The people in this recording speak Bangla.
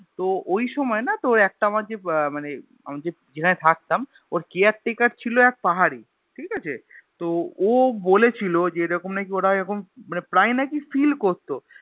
তো ওইসময় না তোর একটা আমার যে আহ মানে আমি যেখানে থাকতাম ওর Care taker ছিল এক পাহাড়ি ঠিকাছে তো ও বলেছিল যে এরকম নাকি ওরা এরকম মানে প্রায় নাকি feel করতো